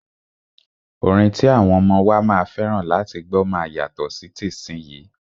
Orin ti àwọn ọmọ wa máa fẹ́ràn láti gbọ́ máa yàtọ̀ sí tìsínyii.